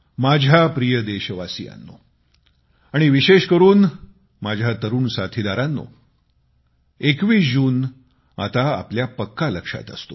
माझ्या प्रिय देशवासीयांनो आणि विशेष करून माझ्या तरुण साथीदारांनो 21 जून आता आपल्या पक्का लक्षात असतो